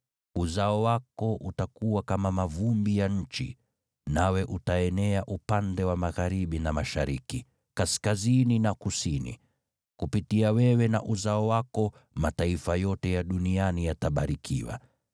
Uzao wako utakuwa kama mavumbi ya nchi, nawe utaenea upande wa magharibi na mashariki, kaskazini na kusini. Kupitia wewe na uzao wako mataifa yote ya duniani yatabarikiwa.